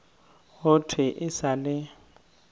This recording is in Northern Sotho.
go thwe e sa le